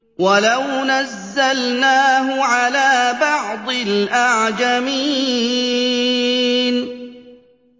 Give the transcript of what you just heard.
وَلَوْ نَزَّلْنَاهُ عَلَىٰ بَعْضِ الْأَعْجَمِينَ